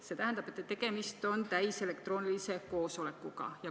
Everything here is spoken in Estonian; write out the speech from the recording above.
See tähendab, et tegemist on täiselektroonilise koosolekuga.